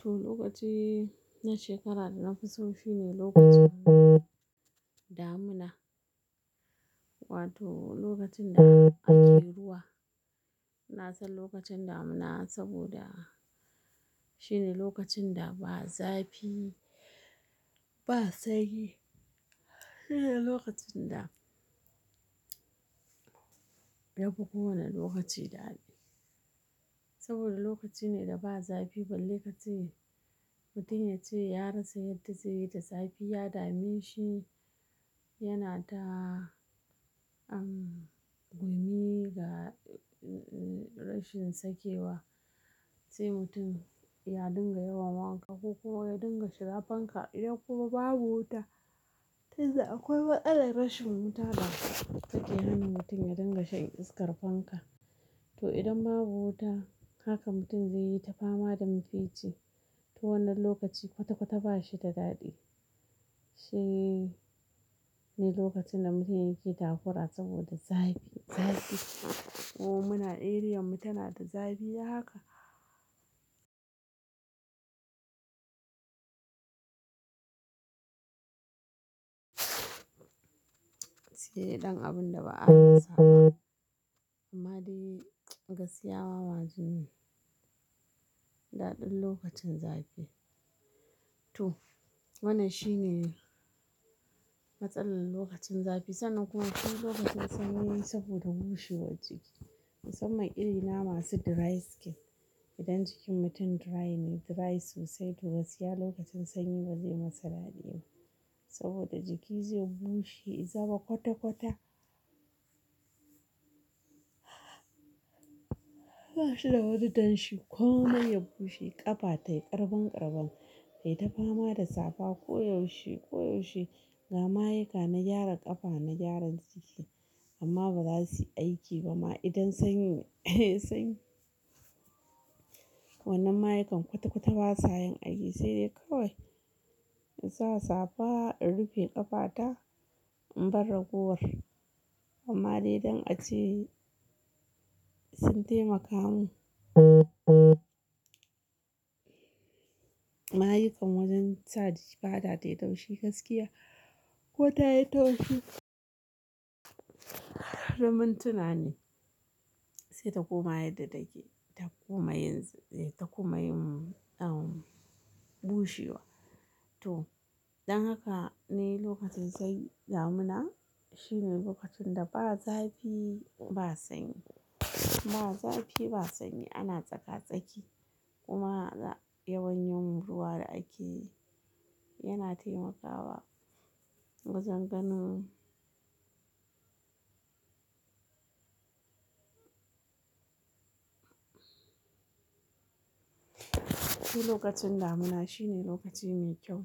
To, lokaci na shekara da na fi so shine lokacin damuna, wato lokacin da ake ruwa. Na san lokacin damuna saboda shine lokacin da ba zafi, ba sanyi. Shine lokacin da yafi kowane lokaci daɗi saboda lokaci ne da ba zafi balle ka ce. Mutum ya ce ya rasa yadda zai yi da zafi ya dame shi, yana ta, um, gumi ga rashin sakewa. Sai mutum ya dinga yawan wanka ko kuma ya dinga shira fanka idan kuma babu wuta tunda akwai matsalar rashin wuta da suke hana mutum ya dinga shan iskar fanka. To idan babu wuta haka mutum zai yi ta fama da mafici. To wannan lokaci kwata-kwata ba shi da daɗi. Shine lokacin da mutane yake takura saboda zafi, zafi. Ko muna eriyan mu tana da zafi haka. Shine ɗan abun da ba a rasa ba. Amma dai gaskiya wawa jini, daɗin lokacin zafi. To wannan shine matsalar lokacin zafi sannan kuma shi lokacin sanyi saboda bushewar jiki. Musamman irina masu dry skin. Idan jikin mutum dry ne, dry sosai, to gaskiya lokacin sanyi ba zai masa daɗi ba saboda jiki zai bushe, ya zama kwata-kwata. Bashi da wani danshi komai ya bushe, ƙafa tayi ƙarban ƙarban, tayi ta fama da safa koyaushe, koyaushe. Ga mayuka na gyara ƙafa na gyaran jiki amma ba za su yi aiki ba ma idan sanyi ne, sanyi. Wannan mayukan kwata-kwata ba sa yin aiki sai dai kawai in sa safa in rufe ƙafata in bar ragowar. Amma dai don a ce sun taimaka mu. Mayukan wajen sa jiki fata tayi taushi gaskiya ko ta yi taushi. Na mintuna ne sai ta koma yadda take ta koma yin, ta koma yin, um, bushewa. To, don haka ne lokacin kai damuna shine lokacin da ba zafi, ba sanyi. Ba zafi ba sanyi ana tsaka-tsaki kuma yawan yin ruwa da ake yana taimakawa. Bazan ganin. Shi lokacin damuna shine lokaci mai kyau.